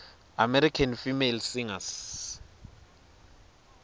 american female singers